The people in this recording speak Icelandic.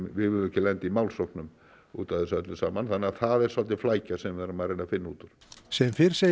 við viljum ekki lenda í málsóknum út af þessu öllu saman þannig að það er svolítil flækja sem við erum að reyna að finna út úr sem fyrr segir